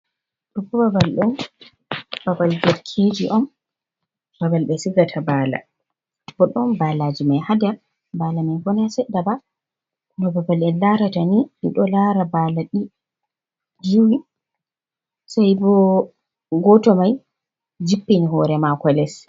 Ɗoo bo babal ɗo, babal bekkiiji on. Babal ɓe sigata baala, bo ɗon baalaaji may ha nder. Baalaaji may bo naa seɗɗa ba, bo babal en larata ni, en ɗo laara bala ɗi juwi sai gooto may jippini hoore maako les.